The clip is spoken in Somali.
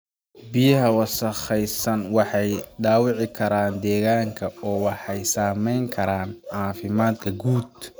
Biyaha wasakhaysan waxay dhaawici karaan deegaanka oo waxay saameyn karaan caafimaadka guud.